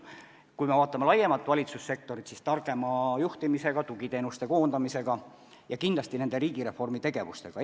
Kui me vaatame laiemalt valitsussektorit, siis targema juhtimisega, tugiteenuste koondamisega ja kindlasti nende riigireformi tegevustega midagi teha saab.